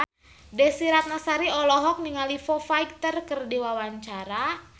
Desy Ratnasari olohok ningali Foo Fighter keur diwawancara